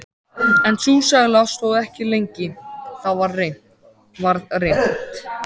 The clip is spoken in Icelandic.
En sú sæla stóð ekki lengi: Það varð reimt.